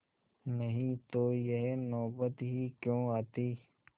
नहीं तो यह नौबत ही क्यों आती